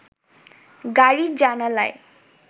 গাড়ির জানালায়